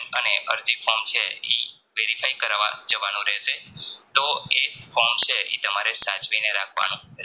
ને અરજી form છે ઈ Verify કરવા જવાનું રહેશે તો એ form છે ઈ તમારે સાચવીને રાખવાનું